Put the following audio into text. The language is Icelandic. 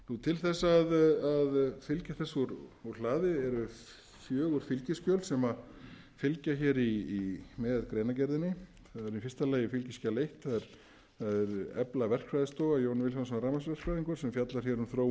til þess að fylgja þessu úr hlaði eru fjögur fylgiskjöl sem fylgja með greinargerðinni það er í fyrsta lagi fskj eitt að efla verkfræðistofu jón vilhjálmsson rafmagnsverkfræðingur sem fjallar um þróun